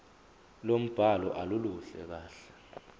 lombhalo aluluhle kahle